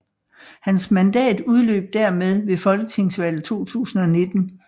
Hans mandat udløb dermed ved Folketingsvalget 2019